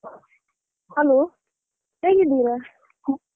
Hello ಹೇಗಿದ್ದೀರಾ?